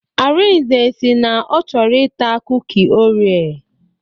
Arinze si na ọ chọrọ ita kuki orea.